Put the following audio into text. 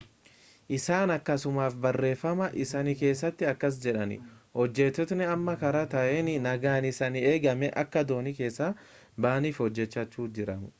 isaan akkasumas barreeffama isaanii keessatti akkas jedhan hojjettootni amma karaa gaarii ta'een nagaan isaanii eegamee akka doonii keessaa ba'aniif hojjechaa jiru